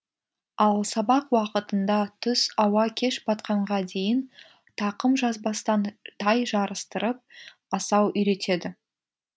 ал сабақ уақытында түс ауа кеш батқанға дейін тақым жазбастан тай жарыстырып асау үйретеді